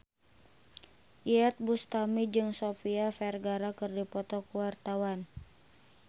Iyeth Bustami jeung Sofia Vergara keur dipoto ku wartawan